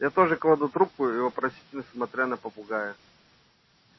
я тоже кладу трубку и вопросительно смотря на попугая